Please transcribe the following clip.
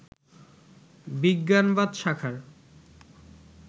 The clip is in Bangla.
বিজ্ঞানবাদ শাখার